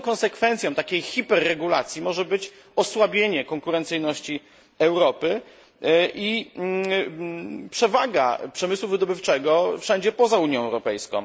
Jedyną konsekwencją takiej hiperregulacji może być osłabienie konkurencyjności Europy i przewaga przemysłu wydobywczego wszędzie poza Unią Europejską.